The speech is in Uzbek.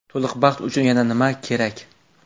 To‘liq baxt uchun yana nima kerak?